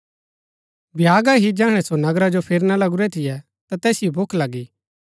भ्यागा ही जैहणै सो नगरा जो फिरणा लगुरै थियै ता तैसिओ भूख लगी